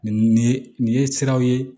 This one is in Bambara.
Nin nin ye nin nin ye siraw ye